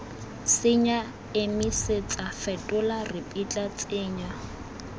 senya emisetsa fetola ripitla tsenya